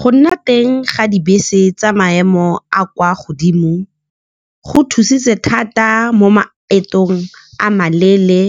Go nna teng ga dibese tsa maemo a a kwa godimo go thusitse thata mo maetong a maleele,